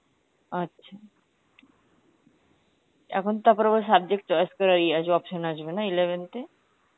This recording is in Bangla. আচ্ছা, এখন তো আবার subject choice করার ইয়ে আসবে option আসবেনা eleventh এ?